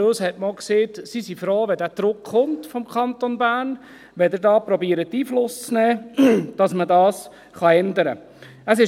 Aber uns wurde auch gesagt, sie seien froh, wenn dieser Druck vom Kanton Bern komme und wenn wir da versuchten, Einfluss zu nehmen, damit man das ändern kann.